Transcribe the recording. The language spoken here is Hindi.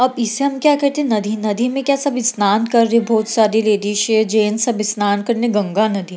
अब इसे हम क्या कहते हैं? नदी नदी में क्या सब स्नान कर रहे हैं बहुत सारे लेडिस है जेंट्स सब स्नान करने गंगा नदी।